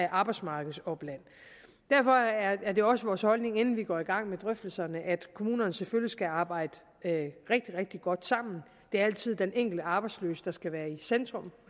arbejdsmarkedsopland derfor er det også vores holdning inden vi går i gang med drøftelserne at kommunerne selvfølgelig skal arbejde rigtig rigtig godt sammen det er altid den enkelte arbejdsløse der skal være i centrum